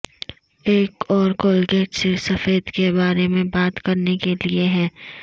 ایک اور کولگیٹ صرف سفید کے بارے میں بات کرنے کے لئے ہے